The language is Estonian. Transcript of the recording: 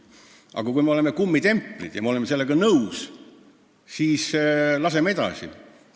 Aga kui me oleme kummitemplid ja oleme sellega nõus, siis laseme edasi!